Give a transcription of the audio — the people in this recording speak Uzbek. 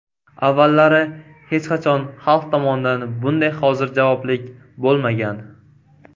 Avvallari hech qachon xalq tomonidan bunday hozirjavoblik bo‘lmagan.